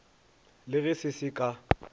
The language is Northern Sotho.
le ge se se ka